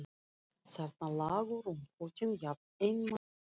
Þarna lágu rúmfötin, jafn einmana og ég.